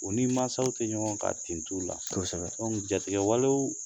U ni masaw ti ɲɔgɔn kan ten t'u la kosɛbɛ jatigi walew